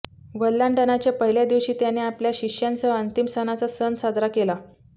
वल्हांडणाच्या पहिल्या दिवशी त्याने आपल्या शिष्यांसह अंतिम सणाचा सण साजरा केला